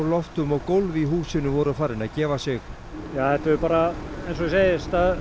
loftum og gólf í húsinu voru farin að gefa sig ja þetta hefur bara eins og ég segi